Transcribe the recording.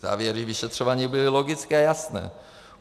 Závěry vyšetřování byly logické a jasné.